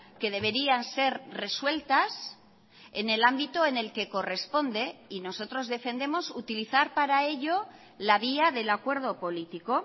que deberían ser resueltas en el ámbito en el que corresponde y nosotros defendemos utilizar para ello la vía del acuerdo político